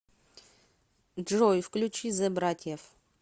джой включи зе братьев